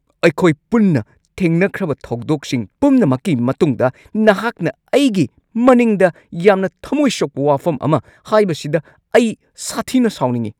ꯑꯩꯈꯣꯏ ꯄꯨꯟꯅ ꯊꯦꯡꯅꯈ꯭ꯔꯕ ꯊꯧꯗꯣꯛꯁꯤꯡ ꯄꯨꯝꯅꯃꯛꯀꯤ ꯃꯇꯨꯡꯗ ꯅꯍꯥꯛꯅ ꯑꯩꯒꯤ ꯃꯅꯤꯡꯗ ꯌꯥꯝꯅ ꯊꯝꯃꯣꯏ ꯁꯣꯛꯄ ꯋꯥꯐꯝ ꯑꯃ ꯍꯥꯏꯕꯁꯤꯗ ꯑꯩ ꯁꯥꯊꯤꯅ ꯁꯥꯎꯅꯤꯡꯉꯤ꯫